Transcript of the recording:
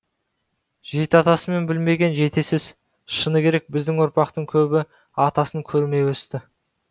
жеті атасын білмеген жетесіз шыны керек біздің ұрпақтың көбі атасын көрмей өсті